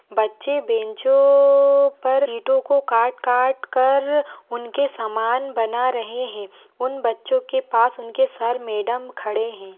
बच्चे बंचो पर शीटो को काट काट कर उनके सामान बना रहे है उन बच्चो के पास उनके सर मैडम खड़े है।